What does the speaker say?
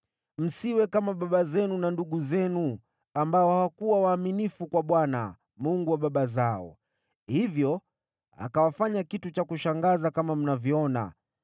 Msiwe kama baba zenu na ndugu zenu, ambao hawakuwa waaminifu kwa Bwana , Mungu wa baba zao, hivyo akawafanya kitu cha kushangaza kama mnavyoona.